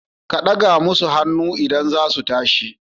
Ka daga masu hannu idan za su tashi.